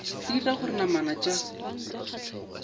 e dira gore namana tša